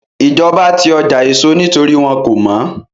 Ìjọba ti ọjà èso nítorí wọ́n kò mọ́